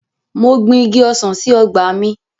Mo gbin Igi ọsàn sí ọgbà mi.